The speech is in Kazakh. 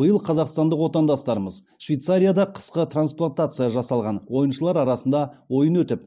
биыл қазақстандық отандастарымыз швейцарияда қысқы трансплатация жасалған ойыншылар арасында ойын өтіп